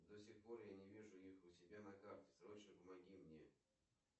до сих пор я не вижу их у себя на карте срочно помоги мне